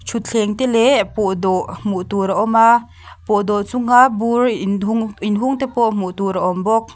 thutthleng te leh pawhdawh hmuh tur a awm a pawh dawh chhunga bur inhu inhung te pawh hmuhtur a awm bawka.